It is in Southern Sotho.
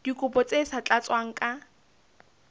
dikopo tse sa tlatswang ka